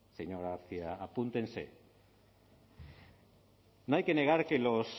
señora garcia apúntense no hay que negar que los